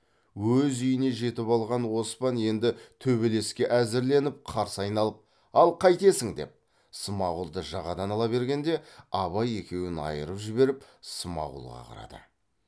өз үйіне жетіп алған оспан енді төбелеске әзірленіп қарсы айналып ал қайтесің деп смағұлды жағадан ала бергенде абай екеуін айырып жіберіп смағұлға қарады